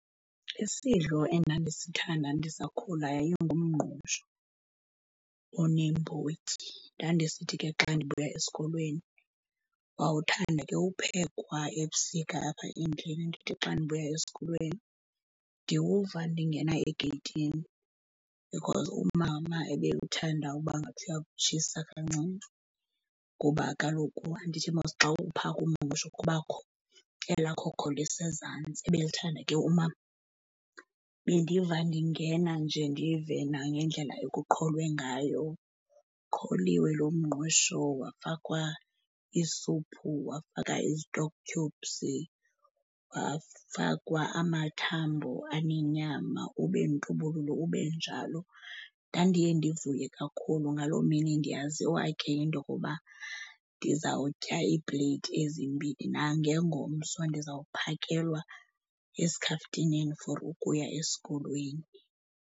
Isidlo endandisithanda ndisakhula yayingumngqusho oneembotyi. Ndandisithi ke xa ndibuya esikolweni, wawuthanda ke uphekwa ebusika apha endlini, ndithi xa ndibuya esikolweni ndiwuva ndingena egeyithini because umama ebewuthanda uba ngathi uyawutshisa kancinci ngoba kaloku andithi mos xa uwuphaka umngqusho kubakho elaa khokho lisezantsi, ebelithanda ke umama. Bendiva ndingena nje, ndive nangendlela ekuqholwe ngayo, uqholiwe lo mngqusho wafakwa isuphu, wafakwa i-stock cubes, wafakwa amathambo anenyama, ube ntubululu ube njalo. Ndandiye ndivuye kakhulu ngaloo mini, ndiyaziwa ke, into okuba ndizawutya iipleyiti ezimbini. Nangengomso ndizawuphakelwa esikhaftineni for ukuya esikolweni.